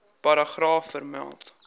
paragraaf vermeld